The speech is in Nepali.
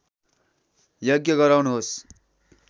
यज्ञ गराउनुहोस्